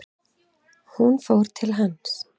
Hún fór til hans.